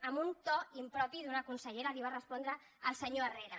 amb un to impropi d’una consellera li va respondre al se·nyor herrera